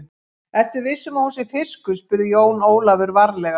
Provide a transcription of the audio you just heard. Ertu viss um að hún sé fiskur, spurði Jón Ólafur varlega.